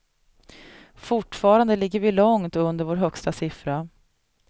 Fortfarande ligger vi långt under vår högsta siffra.